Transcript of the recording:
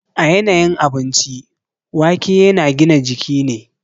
A yanayin abinci, waƙe yana gina jiki ne.